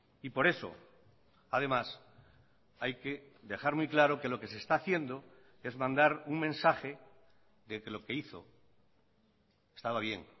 y por eso además hay que dejar muy claro que lo que se está haciendo es mandar un mensaje de que lo que hizo estaba bien